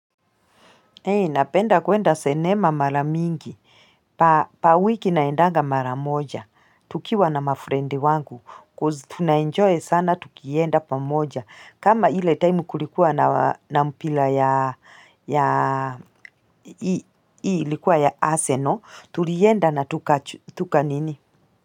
Napenda kuenda senema mara mingi. Per wiki naendanga mara moja. Tukiwa na mafrendi wangu cause tunaenjoy sana tukienda pamoja. Kama ile time kulikuwa na mpira ya ya aseno, tulienda natuka nini?